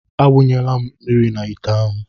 A wunyela m mmiri n'ite ahụ.